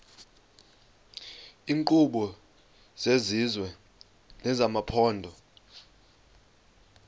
iinkqubo zesizwe nezamaphondo